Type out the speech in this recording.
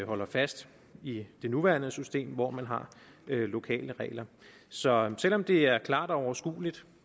holder fast i det nuværende system hvor man har lokale regler så selv om det er klart og overskueligt